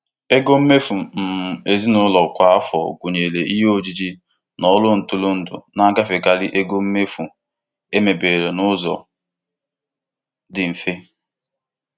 Ego mmefu um ezinụlọ kwa afọ, gụnyere ihe ojiji na ọrụ ntụrụndụ, na-agafekarị ego mmefu emebere n'ụzọ dị mfe.